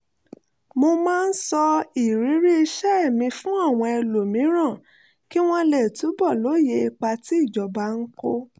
mo máa ń sọ ìrírí iṣẹ́ mi fún àwọn ẹlòmíràn kí wọ́n lè túbọ̀ lóye ipa tí ìjọba ń kó